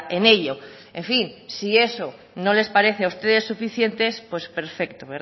en ello en fin si eso no les parece a ustedes suficiente pues perfecto